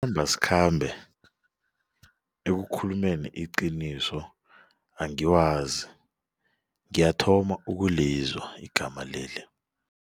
ekukhulumeni iqiniso angiwazi ngiyathoma ukulizwa igama leli.